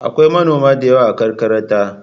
Akwai manoma da yawa a karkarata.